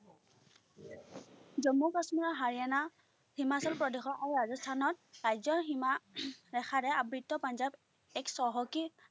জম্মু-কাশ্মীৰ হাৰিয়ানা হিমাচল প্ৰদেশৰ ৰাজস্থানত ৰাজ্যৰ সীমা ৰেখাৰে আবৃত পাঞ্জাৱ এক চহকী